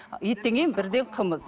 еттен кейін бірден қымыз